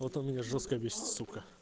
вот он меня жёстко бесит сука